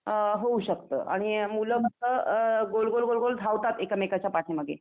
अ होऊ शकतं. आणि मुलं गोल गोल गोल गोल धावतात एकमेकांच्या पाठीमागे.